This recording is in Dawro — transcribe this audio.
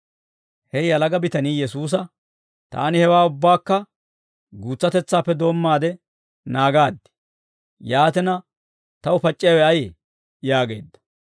He yalaga bitanii Yesuusa, «Taani hewaa ubbaakka guutsatetsaappe doommaade naagaad; yaatina, taw pac'c'iyaawe ayee?» yaageedda.